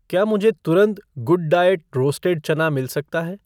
क्या मुझे तुरंत गुडडाइऐट रोस्टेड चना मिल सकता है?